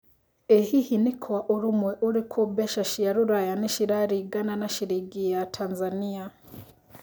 ĩ hihi nĩ Kwa ũrũmwe ũrikũ mbeca cia rũraya nĩ cirarĩgana na ciringi ya Tanzania